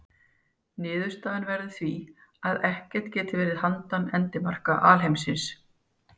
Niðurstaðan verður því að ekkert geti verið handan endamarka alheimsins.